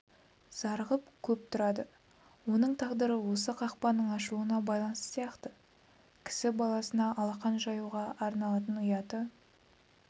зарығып көп тұрады оның тағдыры осы қақпаның ашылуына байланысты сияқты кісі баласына алақан жаюға арланатын ұяты